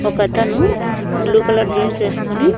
ఒకతను blue colour jeans ఏసుకొని--